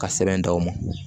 Ka sɛbɛn d'aw ma